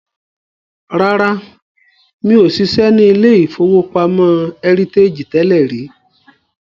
Rárá, mi ò ṣiṣẹ́ ní ilé-ìfowópamọ́ Heritage tẹ́lẹ̀ rí